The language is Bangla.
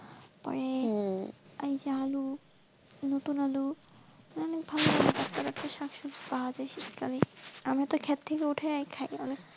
তারপরে ওই যে আলু নতুন আলু মানে ভালো টাটকা টাটকা শাক সবজি পাওয়া যাই, আমরা তো ক্ষেত উঠায় আর খাই.